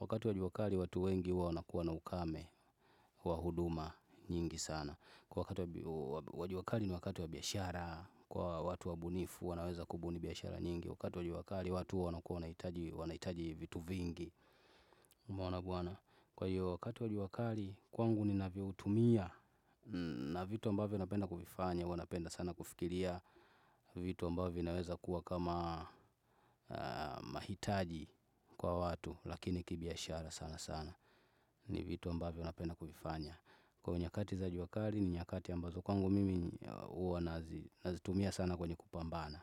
wakati wa jua kali watu wengi huwa wanakuwa na ukame, wa huduma nyingi sana. Wa juakali ni wakati wa biashara, kwa watu wabunifu wanaweza kubuni biashara nyingi. Wakati wa jua kali watu wanakuwa wanahitaji vitu vingi umeona bwana. Kwa hiyo wakati wa jua kali kwangu ninavyoutumia, na vitu ambavyo napenda kuvifanya huwanapenda sana kufikiria vitu ambavyo naweza kuwa kama mahitaji kwa watu, lakini kibiashara sana sana, ni vitu ambavyo napenda kuvifanya. Kwa nyakati za jua kali, ni nyakati ambazo kwangu mimi, huwa nazitumia sana kwenye kupambana.